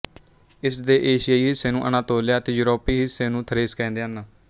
ਇਸ ਦੇ ਏਸ਼ੀਆਈ ਹਿੱਸੇ ਨੂੰ ਅਨਾਤੋਲਿਆ ਅਤੇ ਯੂਰੋਪੀ ਹਿੱਸੇ ਨੂੰ ਥਰੇਸ ਕਹਿੰਦੇ ਹਨ